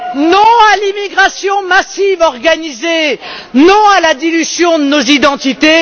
Non à l'immigration massive organisée. Non à la dilution de nos identités.